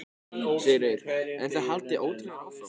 Sigríður: En þið haldið ótrauðir áfram?